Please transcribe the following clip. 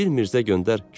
Bir Mirzə göndər,